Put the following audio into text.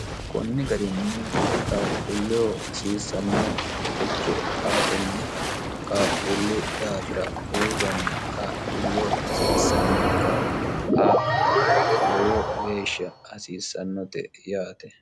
kunni garinni qaqquulleho hasiissannoricho aatenni qaaqquullu daafira uurranna qaaquullu hasiissanno kaa'lo aa lowo geeshsha hasiissannote yaate